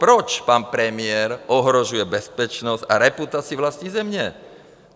Proč pan premiér ohrožuje bezpečnost a reputaci vlastní země?